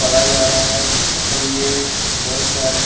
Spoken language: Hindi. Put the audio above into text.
पढ़ा जा रहा है और ये बहोत सारे--